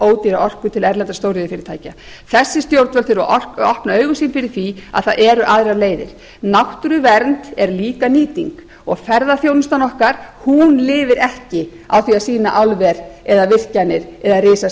að selja ódýra orku til erlendra stóriðjufyrirtækja þessi stjórnvöld eru að opna augu sín fyrir því að það eru aðrar leiðir náttúruvernd er líka nýting og ferðaþjónustan okkar lifir ekki á því að sýna álver virkjanir eða